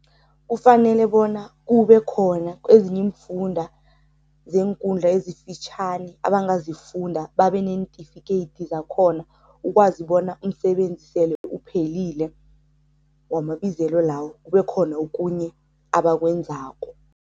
Kufanele bona kube khona kwezinye iimfunda zeenkundla ezifitjhani abangazifunda babe neentifikeyiti zakhona ukwazi bona umsebenzi sele uphelile wamabizelo lawo kube khona okunye abakwenzako.